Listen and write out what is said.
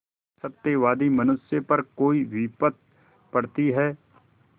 सत्यवादी मनुष्य पर कोई विपत्त पड़ती हैं